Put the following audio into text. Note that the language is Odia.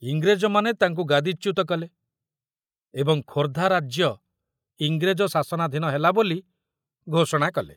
ଇଂରେଜମାନେ ତାଙ୍କୁ ଗାଦିଚ୍ୟୁତ କଲେ ଏବଂ ଖୋର୍ଦ୍ଧା ରାଜ୍ୟ ଇଂରେଜ ଶାସନାଧୀନ ହେଲା ବୋଲି ଘୋଷଣା କଲେ।